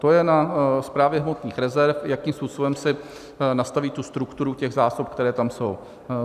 To je na Správě hmotných rezerv, jakým způsobem si nastaví tu strukturu těch zásob, které tam jsou.